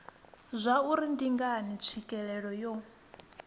zwauri ndi ngani tswikelelo yo